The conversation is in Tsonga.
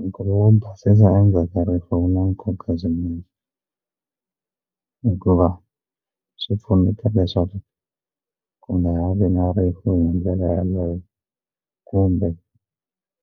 Hikuva wo basisa endzhaku ka rifu wu na nkoka swinene hikuva swi pfuneta leswaku ku nga ha vi na rifu hi ndlela yeleyo kumbe